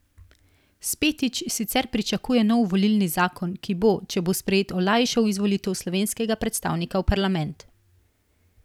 Spetič sicer pričakuje nov volilni zakon, ki bo, če bo sprejet, olajšal izvolitev slovenskega predstavnika v parlament.